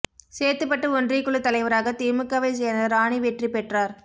சேத்துப்பட்டு ஒன்றியக் குழுத் தலைவராக திமுகவைச் சோ்ந்த ராணி வெற்றி பெற்றாா்